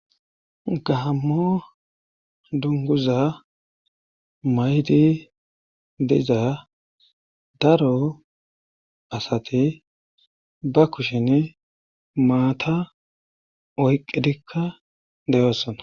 Gahammo dunguza maydi dizaa daro asati ba kushin maata oyqqidikka deyoossana.